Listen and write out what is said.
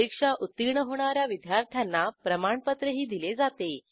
परीक्षा उत्तीर्ण होणा या विद्यार्थ्यांना प्रमाणपत्रही दिले जाते